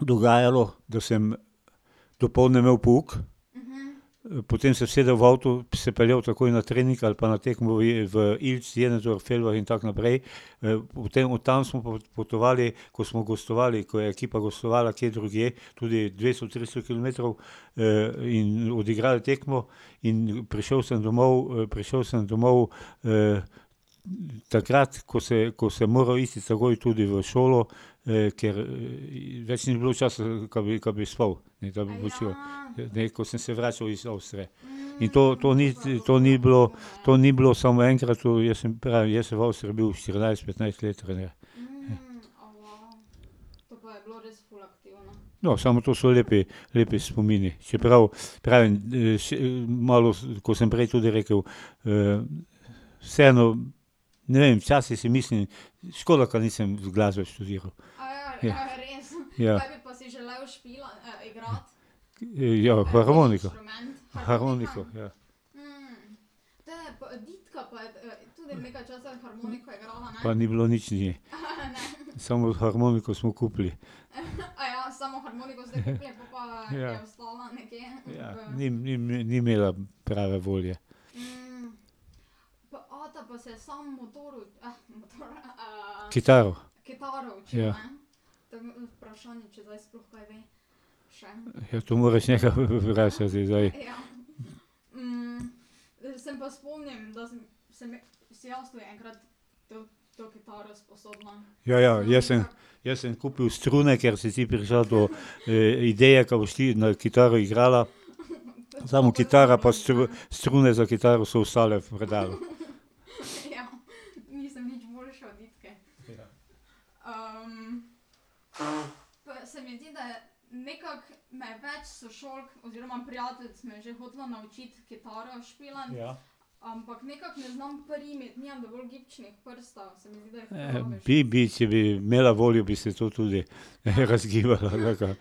dogajalo, da sem dopoldne imel pouk, potem se usedel v avto, se peljal takoj na trening ali pa na tekmo v in tako naprej. v tem, od tam smo pa potovali, ko smo gostovali, ko je ekipa ekipa gostovala kje drugje, tudi dvesto, tristo kilometrov in odigrali tekmo, in prišel sem domov, prišel sem domov, takrat, ko se, ko sem moral iti takoj tudi v šolo, ker več ni bilo časa da bi, da bi spal. Ne, da bi počival. Ne, ko sem se vračali iz Avstrije. In to, to ni, to ni bilo, to ni bilo samo enkrat, saj pravim, jaz sem bil v Avstriji štirinajst, petnajst let trener. No, samo to so lepi, lepi spomini, čeprav pravim še malo, ko sem prej tudi rekel, Vseeno ne vem, včasih si mislim, škoda, ka nisem glasbe študiral. Ja. Ja, harmoniko, harmoniko, ja. Pa ni bilo nič ne. Samo harmoniko smo kupili. Ja. Ni ni, ni imela prave volje. Kitaro. Ja. Ja, to moraš njega vprašati zdaj. Ja, ja, jaz sem, jaz sem kupil strune, ker si ti prišla do ideje, ka boš ti na kitaro igrala, samo kitara pa strune za kitaro so ostale v predalu. bi bi, če bi imela voljo, bi se to tudi, razgibala roka.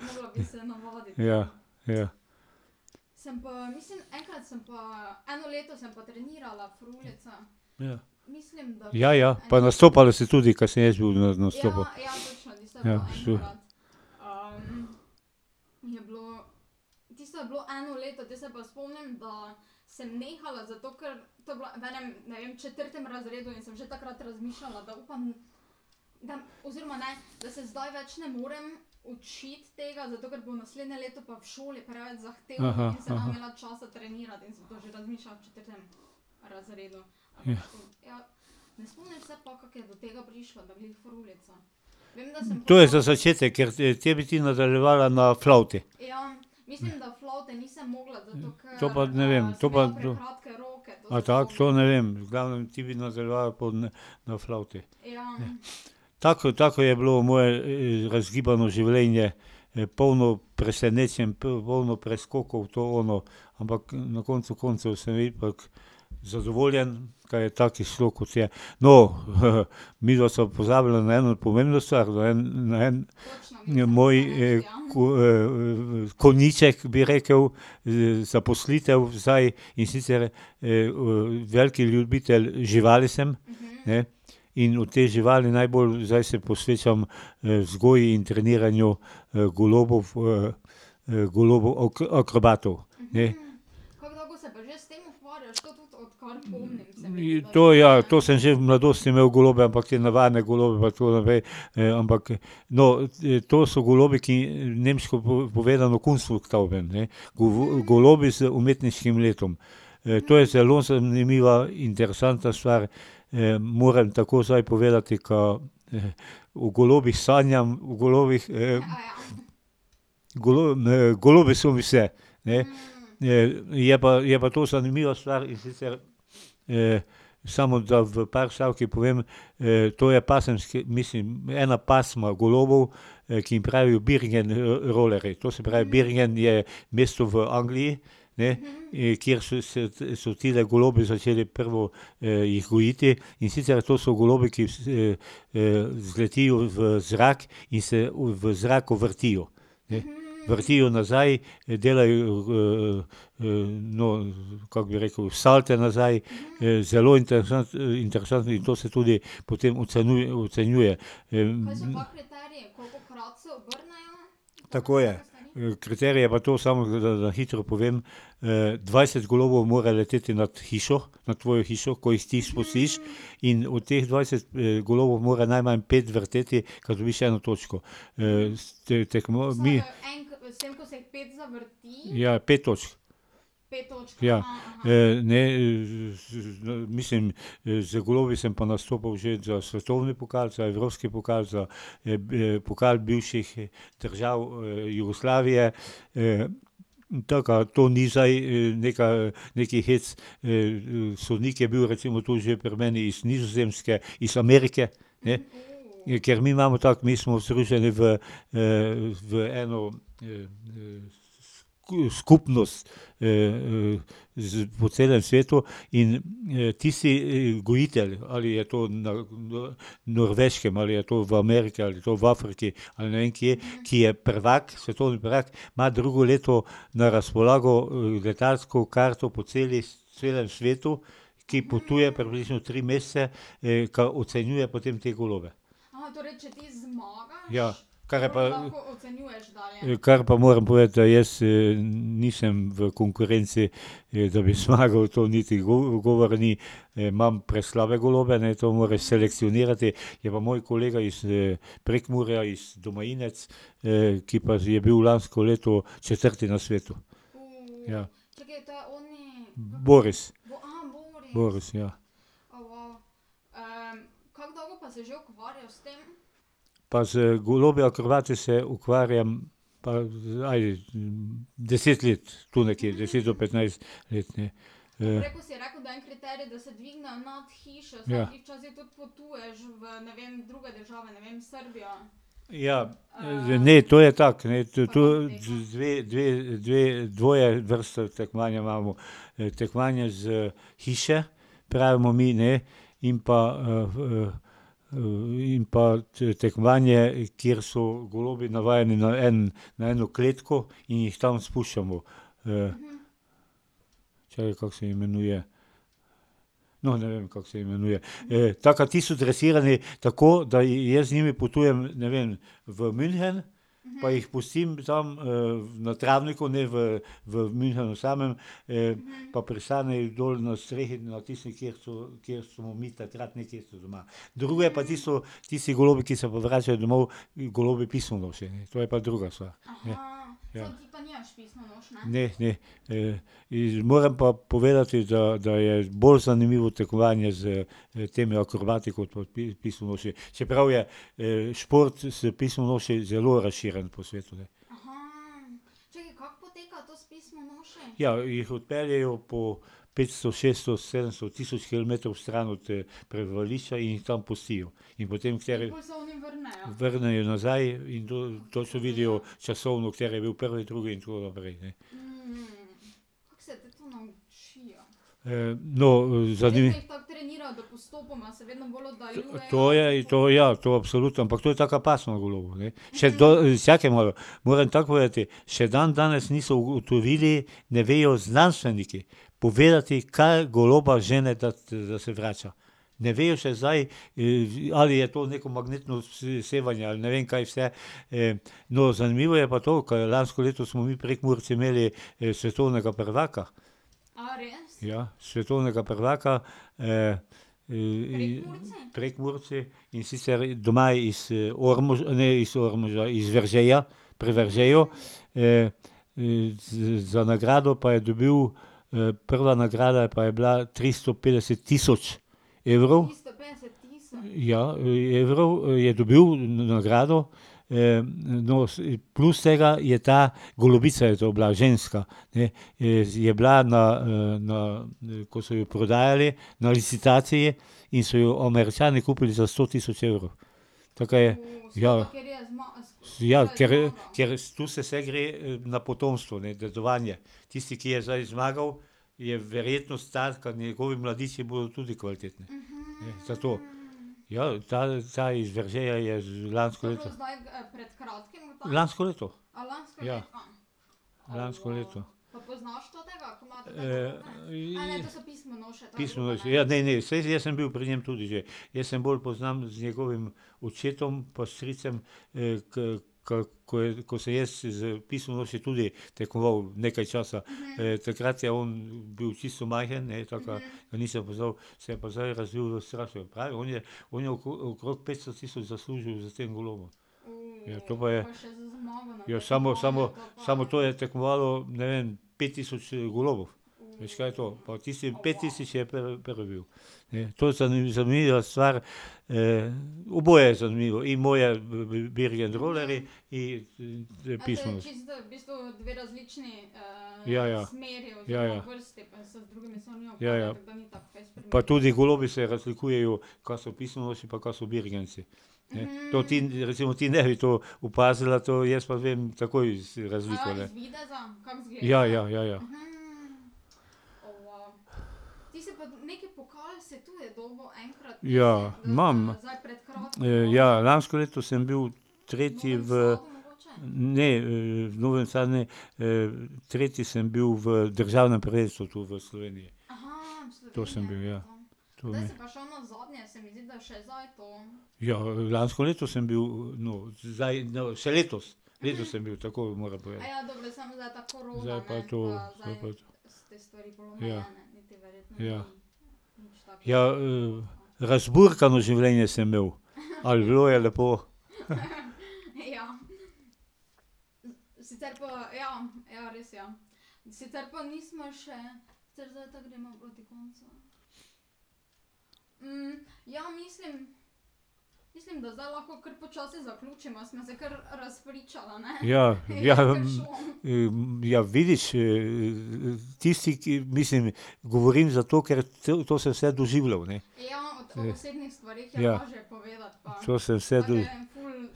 Ja, ja. Ja, ja pa nastopala si tudi, ka sem jaz bil na nastopu. Ja . Ja. To je za začetek, ker te bi ti nadaljevala na flavti. To pa ne vem, to pa ... A tako? To ne vem, v glavnem ti bi nadaljevala pol na, na flavti. Tako, tako je bilo moje razgibano življenje, polno presenečenj, polno preskokov, to, ono, ampak na koncu koncev sem ipak zadovoljen, ka je tako izšlo, kot je. No, midva sva pozabila na eno pomembno stvar, na en, na en ... Moj konjiček, bi rekel. Zaposlitev zdaj, in sicer, veliki ljubitelj živali sem, ne. In v te živali najbolj zdaj se posvečam vzgoji in treniranju golobov, golobov akrobatov, ne. To ja, to sem že v mladosti imel golobe, ampak navadne golobe pa tako naprej, ampak ... No, to so golobi, ki nemško povedano , ne. golobi z umetniškim letom. To je zelo zanimiva, interesantna stvar. moram takoj zdaj povedati, ka, v golobih sanjam, v golobih ... golobi so mi vse, ne. je pa, je pa to zanimiva stvar, in sicer, samo da v par stavkih povem. to je pasemski, mislim, ena pasma golobov, ki jim pravijo Bergen rolerji, to se pravi, Bergen je mesto v Angliji, ne, kjer so se, so tile golobi začeli prvo jih gojiti. In sicer to so golobi, ki zletijo v zrak in se v zraku vrtijo, ne. Vrtijo nazaj, delajo no, kako bi rekel, salte nazaj. zelo interesantni in to se tudi potem ocenjuje, Tako je. kriterije pa to, samo da na hitro povem. dvajset golobov mora leteti nad hišo, nad tvojo hišo, ko jih ti spustiš, in od teh dvajset golobov mora najmanj pet vrteti, ka dobiš eno točko. mi ... Ja, je pet točk. ne z, mislim, z golobi sem pa nastopal že za svetovni pokal, za evropski pokal, za pokal bivših držav Jugoslavije. taka, to ni zdaj neka, neki hec, sodnik je bil recimo že tu pri meni iz Nizozemske, iz Amerike, ne. Ker mi imamo tako, mi smo združeni v, v eno, skupnost, z, po celem svetu in, tisti gojitelj, ali je to na Norveškem ali je to v Ameriki ali je to v Afriki, ali ne vem kje, ki je prvak, svetovni prvak, ima drugo leto na razpolago letalsko karto po celi, celem svetu, ki potuje približno tri mesece, ka ocenjuje potem te golobe. Ja, kar je pa ... Kar pa moram povedati, da jaz nisem v konkurenci, da bi zmagal, to niti govora ni. imam preslabe golobe, ne, to moreš selekcionirati, je pa moj kolega iz Prekmurja, iz Domajinec, ki pa je bil lansko leto četrti na svetu. Ja. Boris. Boris, ja. Pa z golobi akrobati se ukvarjam, pa zdaj deset let, tu nekje, deset do petnajst let, ne. ... Ja. Ja, ne, to je tako, ne, to to dve, dve, dve, dvoje vrste tekmovanja imamo. Tekmovanje z , pravimo mi, ne, in pa, in pa tekmovanje, kjer so golobi navajeni na na eno kletko in jih tam spuščamo, kako se imenuje ... No, ne vem, kako se imenuje. tako da tisto dresiranje tako, da jaz z njimi potujem, ne vem, v München, pa jih pustim tam na travniku, ne v, v Münchnu samem, pa pristanejo dol na strehi, na tisti, kjer so, kjer smo mi takrat doma. Drugo je pa tisto, tisti golobi, ki se pa vračajo domov, golobi pismonoše, ne, to je pa druga stvar. Ne, ne. moram pa povedati, da, da je bolj zanimivo tekmovanje s temi akrobati kot pa pismonoše. Čeprav je šport, se pismonoše zelo razširjen po svetu, ne. Ja, jih odpeljejo po petsto, šeststo, sedemsto, tisoč kilometrov stran od prebivališča in jih tam pustijo. In potem kateri ... Vrnejo nazaj in to, to se vidijo časovno, kateri je bil prvi, drugi in tako naprej, ne. no, ... To je, to ja, to absolutno, ampak to je taka pasma golobov, ne. Še do, vsakemu moram tako povedati, še dandanes niso ugotovili, ne vejo znanstveniki povedati, kaj goloba žene, da, da se vrača. Ne vejo še zdaj, ali je to neko magnetno sevanje ali ne vem kaj vse, No, zanimivo je pa to, ka lansko leto smo mi Prekmurci imeli svetovnega prvaka. Ja, svetovnega prvaka, Prekmurci, in sicer doma iz ne iz Ormoža, iz Veržeja, pri Veržeju. za nagrado pa je dobil, prva nagrada pa je bila tristo petdeset tisoč evrov. Ja, evrov, je dobil nagrado. no, plus tega je ta, golobica je to bila, ne, ženska, ne, je bila na, na, ko so jo prodajali na licitaciji, in so jo Američani kupili za sto tisoč evrov. Taka je, ja. Ja, ker, ker to se vse gre na potomstvo, ne, dedovanje. Tisti, ki je zdaj zmagal, je verjetnost taka, njegovi mladiči bojo tudi kvalitetni, ne, zato. Ja, ta, ta iz Veržeja je lansko leto ... Lansko leto. Ja. Lansko leto. ... Pismonoše, ja, ne, ne, saj jaz sem bil pri njem tudi že. Jaz se bolj poznam z njegovim očetom pa stricem, ka, ko je, ko sem jaz z pismonoši tudi tekmoval nekaj časa. takrat je on bil čisto majhen, ne, takrat ga nisem poznali, se je pa zdaj razvil v. On je okrog petsto tisoč zaslužil s tem golobom. Ja, to pa je. Ja samo, samo, samo to je tekmovalo, ne vem, pet tisoč golobov, veš, kaj je to. Pa od tistih pet tisoč je prvi bil. Ne, to je zanimiva, zanimiva stvar, oboje je zanimivo, in moje Bergen rolerji in pismonoše. Ja, ja. Ja, ja. Ja, ja. Pa tudi golobi se razlikujejo, ka so pismonoše pa ka so birgensi, ne. To ti, recimo ti ne bi to opazila to, jaz pa vem takoj razliko, ne. Ja, ja, ja, ja. Ja, imam. ja, lansko leto sem bil tretji v ... Ne, v Novem Sadu, ne, tretji sem bil v državnem prvenstvu v Sloveniji. To sem bil, ja. Ja, lansko leto sem bil, no, zdaj no, še letos. Leto sem bil, tako, moram povedati. Zdaj pa to, zdaj pa to. Ja. Ja. Ja, razburkano življenje sem imel, ali bilo je bilo. Ja, ja ... ja, vidiš tisti, ki, mislim ... Govorim zato, ker to, to sem vse doživljal, ne. Ja. To sem vse ...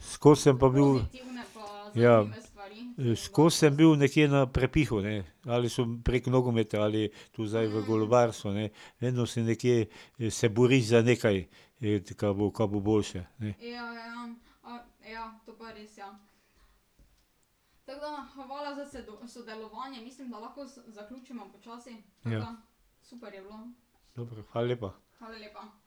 Skozi sem pa bil ... Ja. Skozi sem bil nekje na prepihu, ne. Ali samo prek nogometa ali tu zdaj v golobarstvu, ne. Vedno sem nekje, se boriš za nekaj, ka bo, ka bo boljše, ne. Ja. Dobro, hvala lepa.